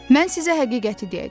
Mən sizə həqiqəti deyəcəm.